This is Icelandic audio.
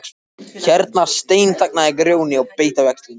Hérna steinþagnaði Grjóni og beit á jaxlinn.